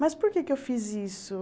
Mas por que é que eu fiz isso?